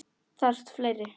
Þarf fleiri?